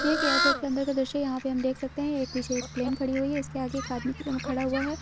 यह एक ऐरपोर्टक के अंदर का दृश्य है यहाँ पे हम देख सकते हैं एक पीछे एक प्लैन खड़ी हुई है इसकेआगे एक आदमी खड़ा हुआ है ।